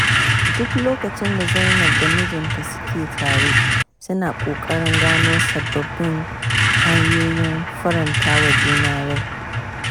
Duk lokacin da Zainab da mijinta suke tare suna ƙoƙarin gano sabbabin hanyoyin faranta wa juna rai.